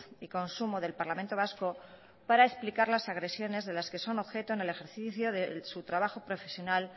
y consumo del parlamento vasco para explicar las agresiones de las que son objeto en el ejercicio de su trabajo profesional